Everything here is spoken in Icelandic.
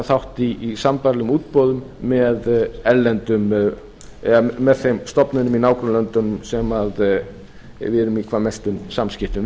þátt í sambærilegum útboðum með þeim stofnunum í nágrannalöndunum sem við erum í hvað mestu samskiptum